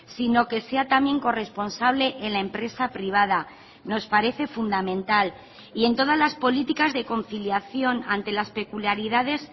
sino que sea también corresponsable en la empresa privada nos parece fundamental y en todas las políticas de conciliación ante las peculiaridades